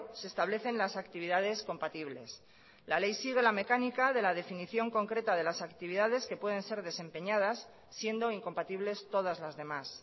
se establecen las actividades compatibles la ley sigue la mecánica de la definición concreta de las actividades que pueden ser desempeñadas siendo incompatibles todas las demás